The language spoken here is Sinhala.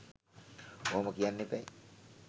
ඔහොම කියන්න එපැයි.